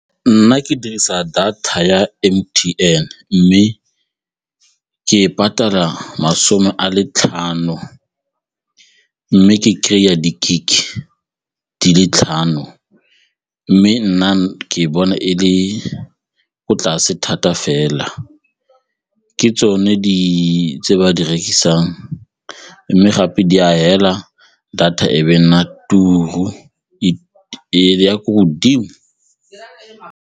Nna ke dirisa data ya M_T_N mme ke e patala masome a le tlhano mme ke kry-a di-gig-e di le tlhano mme nna ke bona e le ko tlase thata fela ke tsone tse ba di rekisang mme gape di a fela data e be nna e ya ko godimo.